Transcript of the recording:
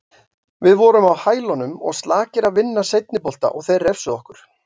Við vorum á hælunum og slakir að vinna seinni bolta og þeir refsuðu okkur.